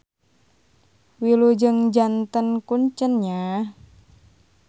Wilujeng janten kuncen nya.